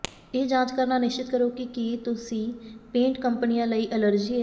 ਇਹ ਜਾਂਚ ਕਰਨਾ ਨਿਸ਼ਚਿਤ ਕਰੋ ਕਿ ਕੀ ਤੁਸੀਂ ਪੇਂਟ ਕੰਪਨੀਆਂ ਲਈ ਅਲਰਜੀ ਹੈ